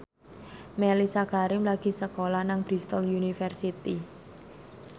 Mellisa Karim lagi sekolah nang Bristol university